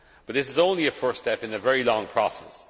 But this is only a first step in a very long process.